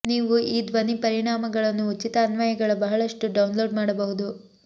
ನೀವು ಈ ಧ್ವನಿ ಪರಿಣಾಮಗಳನ್ನು ಉಚಿತ ಅನ್ವಯಗಳ ಬಹಳಷ್ಟು ಡೌನ್ಲೋಡ್ ಮಾಡಬಹುದು